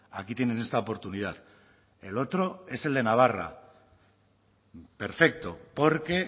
aquí tienen esta oportunidad el otro es el de navarra perfecto porque